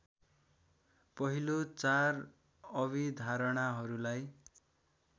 पहिलो चार अभिधारणाहरूलाई